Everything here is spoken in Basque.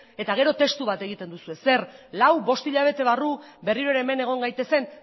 eta gero testu bat egiten duzue zer lau bost hilabete barru berriro ere hemen egon gaitezen